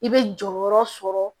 I bɛ jɔyɔrɔ sɔrɔ